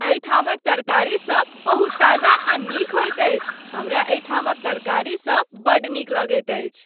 एहि ठामक तरकारीसभ बहुत ताजा आ नीक होयत अछि, हमरा एहि ठामक तरकारीसभ बड्ड नीक लगैत अछि।